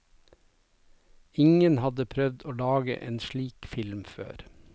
Ingen hadde prøvd å lage en slik film før.